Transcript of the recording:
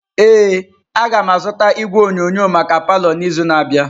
Ee, agam azụta igwe onyonyo maka palọ n'izu na-abịa.